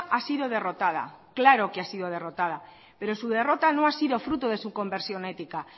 ha sido derrotada claro que ha sido derrotado pero su derrota no ha sido fruto de su conversión ética